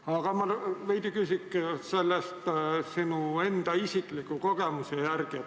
Aga ma küsin veidi selle kohta sinu enda isikliku kogemuse põhjal.